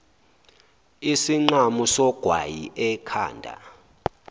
isinqamu sogwayi ekhanda